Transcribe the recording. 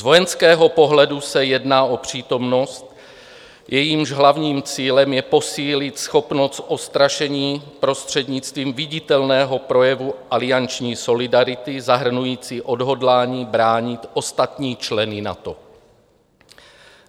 Z vojenského pohledu se jedná o přítomnost, jejímž hlavním cílem je posílit schopnost odstrašení prostřednictvím viditelného projevu alianční solidarity zahrnující odhodlání bránit ostatní členy NATO.